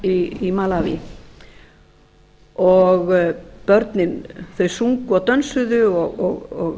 skóla í malaví og börnin sungu og dönsuðu og